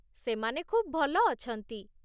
ସେମାନେ ଖୁବ୍ ଭଲ ଅଛନ୍ତି।